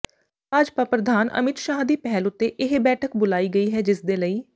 ਭਾਜਪਾ ਪ੍ਰਧਾਨ ਅਮਿਤ ਸ਼ਾਹ ਦੀ ਪਹਿਲ ਉੱਤੇ ਇਹ ਬੈਠਕ ਬੁਲਾਈ ਗਈ ਹੈ ਜਿਸਦੇ ਲਈ